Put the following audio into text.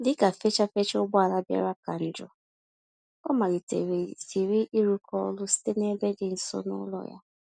Dịka fachi-fachi ụgbọala bịara ka njọ, ọ malite ziri ịrụkọ ọrụ site n'ebe dị nso n'ụlọ ya.